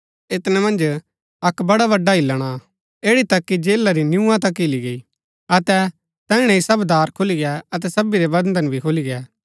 ऐतनै मन्ज अक्क बड़ा बड़आ हिल्‍लण आ ऐड़ी तक की जेला री नियूआं तक हिली गई अतै तैहणै ही सब दार खुली गै अतै सबी रै बन्धन भी खुली गै